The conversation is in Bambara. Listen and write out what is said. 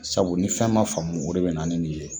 Sabu ni fɛn ma faamu o de bina ni nin ye